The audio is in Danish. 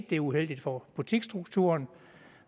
det er uheldigt for butiksstrukturen